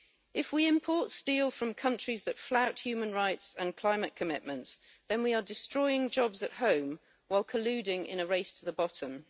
If we import steel from countries that flout human rights and climate commitments, then we are destroying jobs at home while colluding in a race to the bottom.